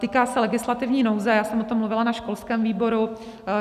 Týká se legislativní nouze, já jsem o tom mluvila na školském výboru.